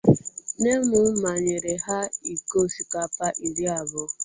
Nne m manyere ha iko osikapa iri abụọ